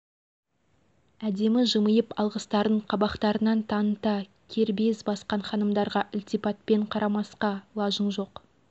шет елден келген қонақтар имам хомейнидің басына барып бата жасағанға дейін күндей тегеранның біраз көрнекті жерлерімен танысып үлгердік